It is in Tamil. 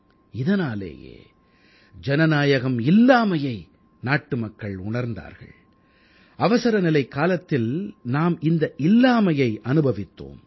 இதனாலேயே ஜனநாயகம் இல்லாமையை நாட்டு மக்கள் உணர்ந்தார்கள் அவசரநிலைக்காலத்தில் நாம் இந்த இல்லாமையை அனுபவித்தோம்